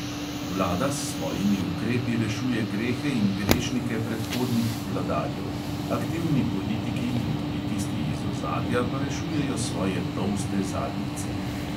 Vlada s svojimi ukrepi rešuje grehe in grešnike predhodnih "vladarjev"; aktivni politiki in tudi tisti iz ozadja pa rešujejo svoje tolste zadnjice.